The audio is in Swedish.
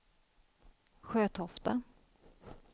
Sjötofta